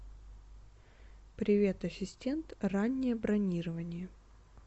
привет ассистент раннее бронирование